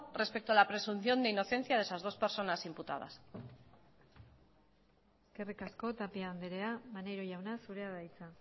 respecto a la presunción de inocencia de esas dos personas imputadas eskerrik asko tapia andrea maneiro jauna zurea da hitza